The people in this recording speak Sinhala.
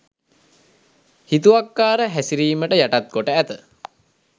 හිතුවක්කාර හැසිරිමට යටත්කොට ඇත.